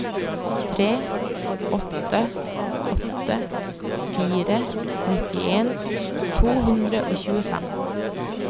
tre åtte åtte fire nittien to hundre og tjuefem